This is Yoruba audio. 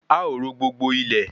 A o ro gbogbo ilẹ́